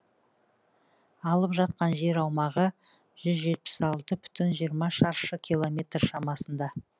алып жатқан жер аумағы жүз жетпіс алты бүтін жиырма шаршы километр шамасында